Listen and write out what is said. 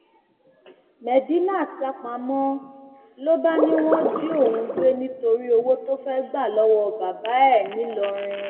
medinat sá pamọ ló bá ní wọn jí òun gbé nítorí owó tó fẹẹ gbà lọwọ bàbá ẹ ńìlọrin